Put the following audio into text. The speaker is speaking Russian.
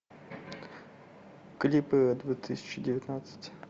клипы две тысячи девятнадцать